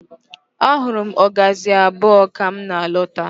Ahụrụ m ọgazị abụọ ka m na-lọta.